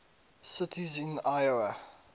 cities in iowa